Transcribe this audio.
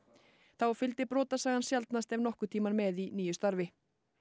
þá fylgdi sjaldnast ef nokkurn tímann með í nýju starfi